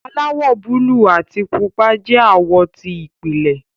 aláwò buluu àti pupa jẹ awọ ti ìpìlẹ.